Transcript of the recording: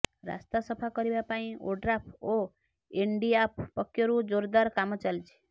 ରାସ୍ତା ସଫା କରିବା ପାଇଁ ଓଡ୍ରାଫ୍ ଓ ଏନ୍ଡିଆଫ୍ ପକ୍ଷରୁ ଜୋରଦାର କାମ ଚାଲିଛି